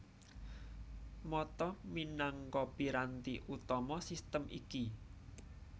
Mata minangka piranti utama sistem iki